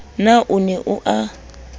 na o ne o a